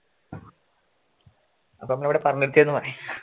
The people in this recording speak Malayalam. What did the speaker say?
അപ്പൊ ഇവിടെ പറഞ്ഞിടുക്കെ ആയിരുന്നു പണി